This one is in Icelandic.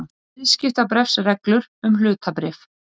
Viðskiptabréfsreglur um hlutabréf.